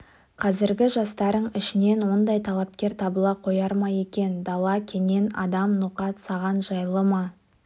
қазіргі жастарың ішінен ондай талапкер табыла қояр ма екен дала кенен адам ноқат саған жайлы ма